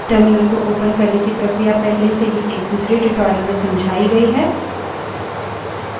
terminal को open करने की प्रक्रिया पहले से ही एक दूसरे tutorial में समझाई गयी है